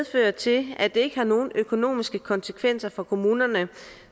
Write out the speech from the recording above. fører til at det ikke har nogen økonomiske konsekvenser for kommunerne